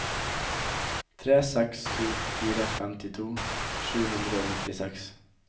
tre seks to fire femtito sju hundre og nittiseks